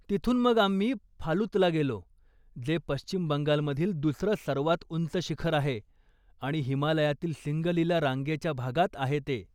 तिथून मग आम्ही फालुतला गेलो, जे पश्चिम बंगालमधील दुसरं सर्वात उंच शिखर आहे आणि हिमालयातील सिंगलीला रांगेच्या भागात आहे ते.